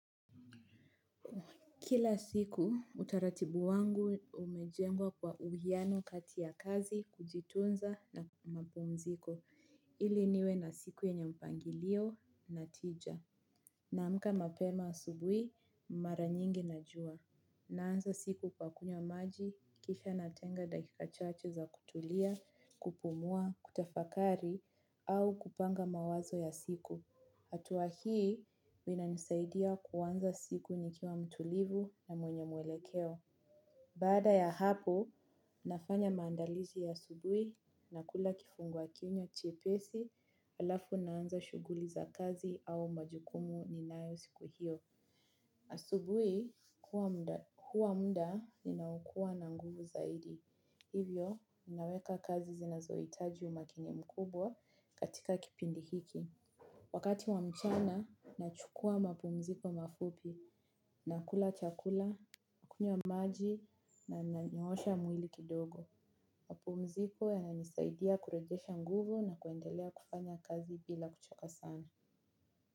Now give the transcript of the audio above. Kila siku utaratibu wangu umejengwa kwa uhiano kati ya kazi kujitunza na mapumziko ili niwe na siku yenye mpangilio na tija. Naamka mapema asubuhi mara nyingi na jua. Naanza siku kwa kunywa maji kisha natenga dakika chache za kutulia, kupumua, kutafakari au kupanga mawazo ya siku. Hatua hii, inanisaidia kuanza siku nikiwa mtulivu na mwenye mwelekeo. Baada ya hapo, nafanya maandalizi ya asubui nakula kifungua kinywa chepesi, alafu naanza shuguli za kazi au majukumu ninae siku hiyo. Asubui, huwa mda ninaokua na nguvu zaidi. Hivyo, naweka kazi zinazoitaji umakini mkubwa katika kipindi hiki. Wakati wa mchana, nachukua mapumziko mafupi nakula chakula, kunywa maji na nanyoosha mwili kidogo. Mapumziko yananisaidia kurejesha nguvu na kuendelea kufanya kazi bila kuchoka sana.